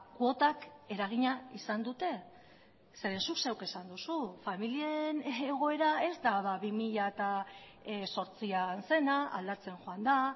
kuotak eragina izan dute zeren zuk zeuk esan duzu familien egoera ez da bi mila zortzian zena aldatzen joan da